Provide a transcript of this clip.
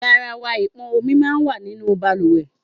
Garawa ipọn omi sì máa ń wà nínú bàlùwẹ̀.